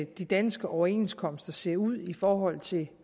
de danske overenskomster ser ud i forhold til